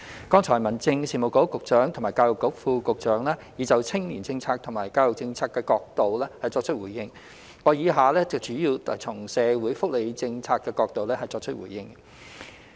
剛才民政事務局局長及教育局副局長已分別從青年政策及教育政策角度作出回應，我以下主要從社會福利政策角度作出回應。